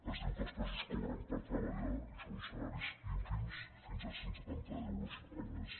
es diu que els presos cobren per treballar i són salaris ínfims fins a cent i setanta euros el mes